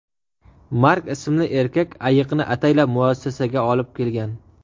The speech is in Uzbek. Mark ismli erkak ayiqni ataylab muassasaga olib kelgan.